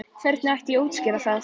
Hvernig ætti ég að útskýra það?